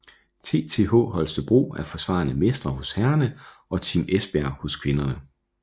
TTH Holstebro er forsvarende mestre hos herrerne og Team Esbjerg hos kvinderne